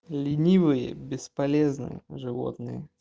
ленивые бесполезные животные